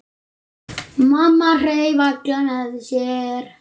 Mamma hreif alla með sér.